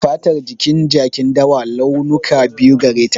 Fatar jikin jakin dawa, launuka biyu gare ta.